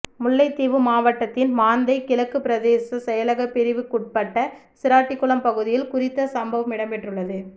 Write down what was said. முல்லைத்தீவு மாவட்டத்தின் மாந்தை கிழக்கு பிரதேச செயலக பிரிவுக்குட்பட்ட சிராட்டிகுளம் பகுதியில் குறித்த சம்பவம் இடம்பெறுள்ளது